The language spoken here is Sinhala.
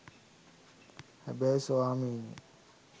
හැබැයි ස්වාමීනී